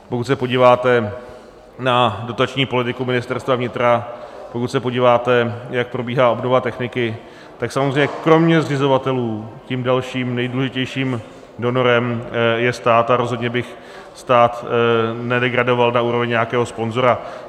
Pokud se podíváte na dotační politiku Ministerstva vnitra, pokud se podíváte, jak probíhá obnova techniky, tak samozřejmě kromě zřizovatelů tím dalším nejdůležitějším donorem je stát a rozhodně bych stát nedegradoval na úroveň nějakého sponzora.